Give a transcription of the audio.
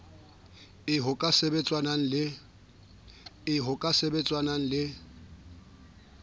eo ho ka sebetsanwang le